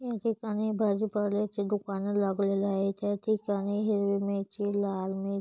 या ठिकाणी भाजीपाल्याचे दुकाने लागलेले आहेत या ठिकाणी हिरवी मिरची लाल मिर--